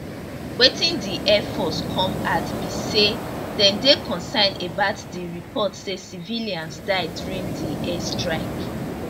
wetin di air force come add be say dem dey concerned about di report say civilians die during di airstrike